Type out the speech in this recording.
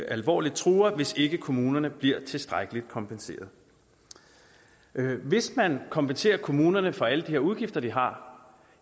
alvorligt hvis ikke kommunerne bliver tilstrækkeligt kompenseret hvis man kompenserer kommunerne for alle de her udgifter de har